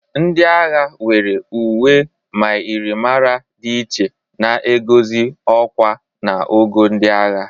Ndị agha nwere uwe myịrịmara dị iche na egozi ọkwa na ogo ndị agha.